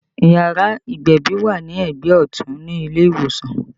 Yàrá ìgbẹ̀bì wà ní ẹgbẹ́ ọtun ní ilé ìwòsàn